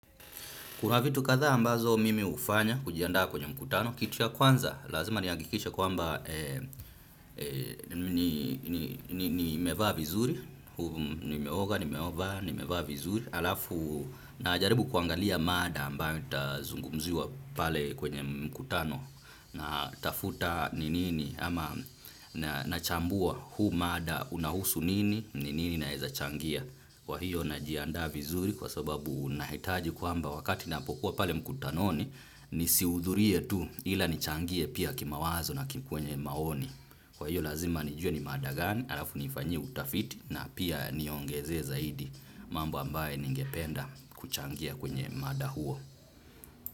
Kuna vitu kadhaa ambazo mimi hufanya kujiandaa kwenye mkutano, kitu ya kwanza lazima nihakikishe kwamba nimevaa vizuri, nimeoga, nimevaa, nimevaa vizuri, alafu najaribu kuangalia mada ambayo itazungumziwa pale kwenye mkutano natafuta ni nini ama nachambua huu mada unahusu nini, ni nini ninaezachangia. Kwa hiyo najiandaa vizuri kwa sababu nahitaji kwamba wakati napokuwa pale mkutanoni nisihudhurie tu ila nichangie pia kimawazo na kwenye maoni. Kwa hiyo lazima nijue ni mada gani, alafu niifanyie utafiti na pia niongezee zaidi mambo ambayo ningependa kuchangia kwenye mada huo.